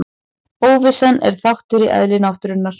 Óvissan er þáttur í eðli náttúrunnar.